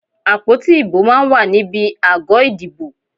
Àpótí ìbò máa ń wà níbi àgọ́ ìdìbò.